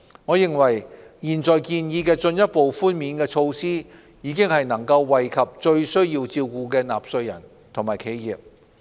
我認為現在建議的進一步寬免措施已能惠及最需要照顧的納稅人和企業。